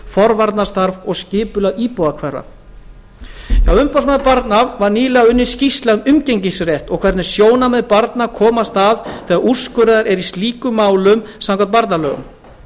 forvarnastarf og skipulag íbúðarhverfa hjá umboðsmanni barna var nýlega unnin skýrsla um umgengnisrétt og hvernig sjónarmið barna komast að þegar úrskurðað er í slíkum málum samkvæmt barnalögum